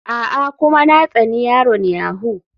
A'a, kuma na tsani yaron yahoo.